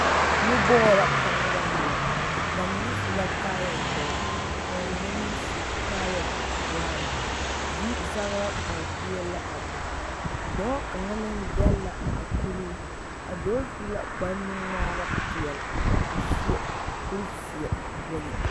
Nu bɔɔl la ka noba ŋmeɛrɛ ba mine su la kaayadɔre ka ba mine meŋ su kaayabrown yizagra are peɛlle la a be dɔɔ kaŋa meŋ dɛlle la a kuree a dɔɔ su la kparenuŋmaara peɛlle a seɛ kurizeɛ wogi.